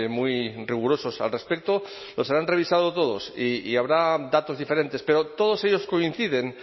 muy rigurosos al respecto los habrán revisado todos y habrá datos diferentes pero todos ellos coinciden